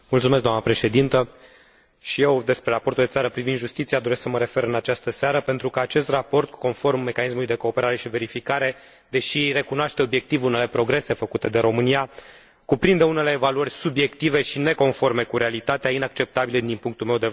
Și eu la raportul pe țară privind justiția doresc să mă refer în această seară, pentru că acest raport, conform mecanismului de cooperare și verificare, deși recunoaște obiectiv unele progrese făcute de România, cuprinde unele evaluări subiective și neconforme cu realitatea, inacceptabile din punctul meu de vedere.